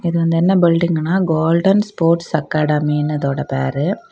இது வந்து என்ன பில்டிங்ன கோல்டன் ஸ்போர்ட்ஸ் அகாடெமின்னு இதோட பேரு.